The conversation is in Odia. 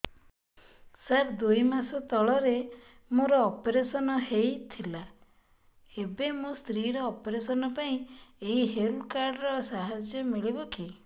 ସାର ଦୁଇ ମାସ ତଳରେ ମୋର ଅପେରସନ ହୈ ଥିଲା ଏବେ ମୋ ସ୍ତ୍ରୀ ର ଅପେରସନ ପାଇଁ ଏହି ହେଲ୍ଥ କାର୍ଡ ର ସାହାଯ୍ୟ ମିଳିବ କି